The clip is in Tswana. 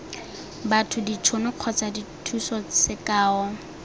batho ditšhono kgotsa dithuso sekao